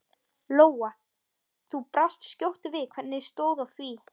Lóa: Þú brást skjótt við, hvernig stóð á því?